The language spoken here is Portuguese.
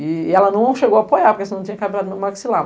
E ela não chegou a apoiar, porque senão não tinha cabra no meu maxilar.